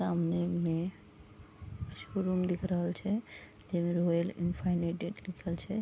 सामने मे शोरूम दिख रहल छै जेमे रॉयल इनफानाइट लिखल छै।